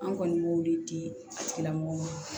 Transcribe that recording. An kɔni b'o de di a tigilamɔgɔw ma